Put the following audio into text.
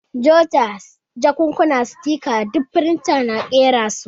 Jota, jakkuna, sitika ɗuk firinta na ƙera su.